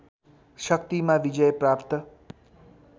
शक्तिमा विजय प्राप्त